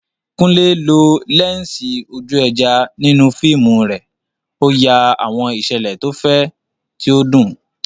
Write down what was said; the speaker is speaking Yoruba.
Kunle lo lẹ́ńsì ojú ẹja nínú fíìmù rẹ̀, ó ya àwọn ìṣẹ̀lẹ̀ tó fẹ̀, tí ó dùn.